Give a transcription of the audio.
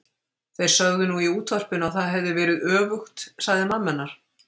Þeir sögðu nú í útvarpinu að það hefði verið öfugt sagði mamma hennar.